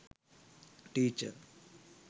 teacher